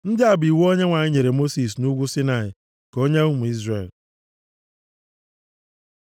Ndị a bụ iwu Onyenwe anyị nyere Mosis nʼugwu Saịnaị ka ọ nye ụmụ Izrel.